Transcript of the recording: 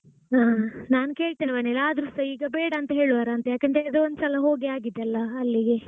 ಹಾ ನಾನು ಕೇಳ್ತೇನೆ ಮನೆಯಲ್ಲಿ ಆದ್ರೂಸ ಈಗ ಬೇಡಾಂತ ಹೇಳುವರಾಂತ ಯಾಕಂದ್ರೆ ಇದು ಒಂದ್ ಸಲ ಹೋಗಿ ಆಗಿದೆ ಅಲ್ಲಾ ಅಲ್ಲಿಗೆ.